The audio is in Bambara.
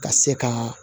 Ka se ka